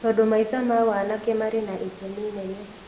Tondũ maica ma wanake marĩ na itemi inene